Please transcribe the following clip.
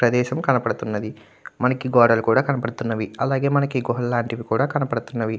ప్రదేశం కనబడుతున్నది. మనకి గోడలు కూడా కనబడుతున్నవి అలాగే మనకి గుహలు లాంటివి కూడా కనపడుతున్నాయి.